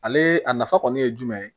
Ale a nafa kɔni ye jumɛn ye